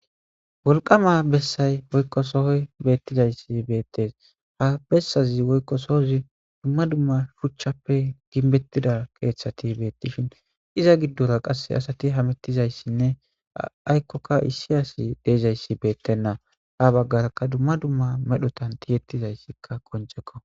wolqama bessay woykko sohoy beettizayssi beettes ha bessazi woykko soozi dumma dumma shuchchappe ginbettida keeththati beettishin iza giddora qasse asati hamettizayssinne aykkokka issi asi deezayssi beettenna a baggarakka dumma dumma medhotan tiyettizayssikka qoncekko